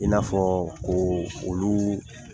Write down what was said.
I n'a fɔ ko olu